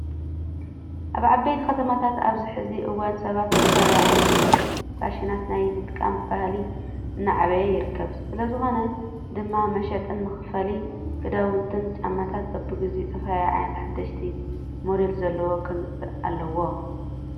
ኣብ ዓበይቲ ከተማታት ኣብዚ ሕዚ እዋን ሰባት ዝተፈላለዩ ዓይነት ፋሽናት ናይ ምጥቃም ባህሊ እናዕበዩ ይርከቡ። ስለዝኾነ ድማ መሸጥን መከፋፈሊ ክዳውንትን ጫማታት በብግዚኡ ዝተፈላለዩ ዓይነታት ሓደሽቲ ሞዴል ዘለዎም ከምፅኡ ኣለዎም።